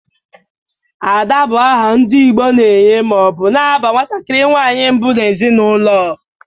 Ada bụrụ aha ndị Igbo na-enye ma ọ bụ na-aba nwatakiri nwanyị mbụ n'ezinaụlọ.